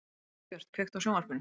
Dagbjört, kveiktu á sjónvarpinu.